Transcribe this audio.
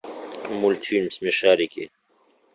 мультфильм смешарики